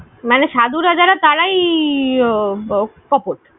মানে সাধুরা যারা তারাই কপট